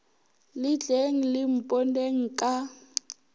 le tleng le mponeng ka